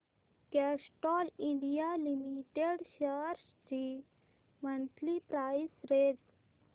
Castrol India limited shares ची monthly price range